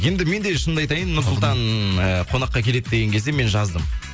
енді мен де шынымды айтайын нұрсұлтан ы қонаққа келеді деген кезде мен жаздым